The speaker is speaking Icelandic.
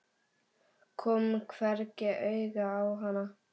Kom hvergi auga á hana.